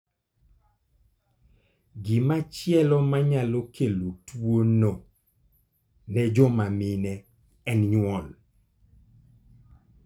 Gimachielo ma nyalo kelo tuo no ne joma mine, en nyuol.